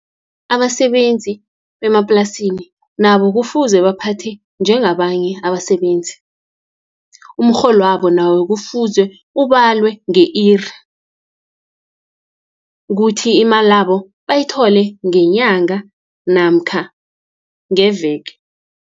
Abasebenzi bemaplasini nabo kufuze baphathwe njengabanye abasebenzi. Umrholwabo nawo kufuze ubalwe nge-iri, kuthi imalabo bayithole ngenyanga namkha ngeveke.